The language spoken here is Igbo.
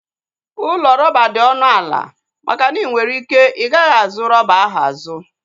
Ụlọ rọba dị ọnụ ala maka na inwere ike igaghi azu rọba ahụ azu